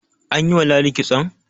an yi wa ladi kitson?